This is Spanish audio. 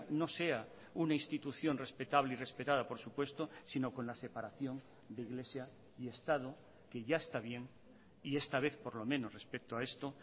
no sea una institución respetable y respetada por supuesto sino con la separación de iglesia y estado que ya está bien y esta vez por lo menos respecto a esto